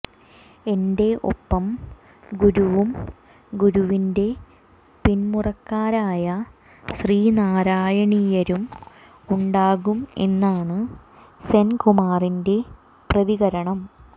എന്റെ ഒപ്പം ഗുരുവും ഗുരുവിന്റെ പിന്മുറക്കാരായ ശ്രീനാരായണീയരും ഉണ്ടാകും എന്നാണ് സെൻകുമാറിന്റെ പ്രതികരണം